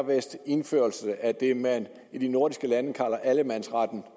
indførelse af det man i de nordiske lande kalder allemandsretten